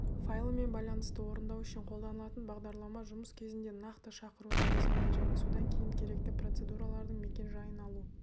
файлымен байланысты орындау үшін қолданылатын бағдарлама жұмыс кезінде нақты шақыруды жасайды және содан кейін керекті процедуралардың мекен-жайын алу